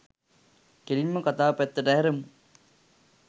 කෙලින්ම කතාව පැත්තට හැරෙමු.